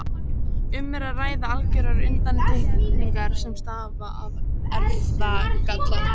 Um er að ræða algjörar undantekningar sem stafa af erfðagalla.